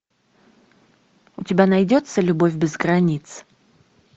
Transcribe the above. у тебя найдется любовь без границ